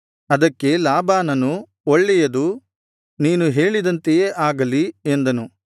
ಅದಕ್ಕೆ ಲಾಬಾನನು ಒಳ್ಳೆಯದು ನೀನು ಹೇಳಿದಂತೆಯೇ ಆಗಲಿ ಎಂದನು